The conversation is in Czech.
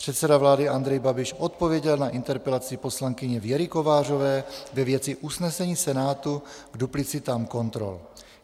Předseda vlády Andrej Babiš odpověděl na interpelaci poslankyně Věry Kovářové ve věci usnesení Senátu k duplicitám kontrol.